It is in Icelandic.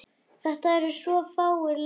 Þetta eru svo fáir leikir.